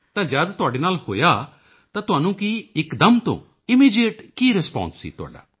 ਤਾਂ ਜਦ ਤੁਹਾਡੇ ਨਾਲ ਹੋਇਆ ਤਾਂ ਤੁਹਾਨੂੰ ਕੀ ਇੱਕਦਮ ਤੋਂ ਇਮੀਡੀਏਟ ਕੀ ਰਿਸਪਾਂਸ ਸੀ ਤੁਹਾਡਾ